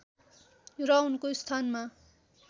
र उनको स्थानमा